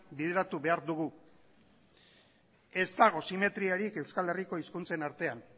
bideratu behar dugu ez dago simetriarik euskal herriko hizkuntzen artean